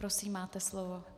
Prosím, máte slovo.